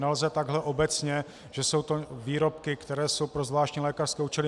Nelze takhle obecně, že jsou to výrobky, které jsou pro zvláštní lékařské účely.